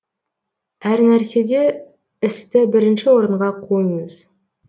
әр нәрседе істі бірінші орынға қойыңыз